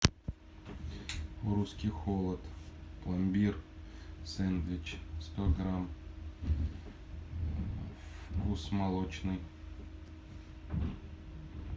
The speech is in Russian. русский холод пломбир сэндвич сто грамм вкус молочный